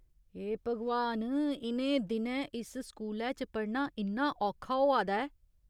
हे भगवान, इ'नें दिनैं इस स्कूलै च पढ़ना इन्ना औखा होआ दा ऐ।